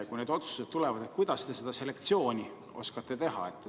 Kui need otsused tulevad, kuidas te seda selektsiooni oskate teha?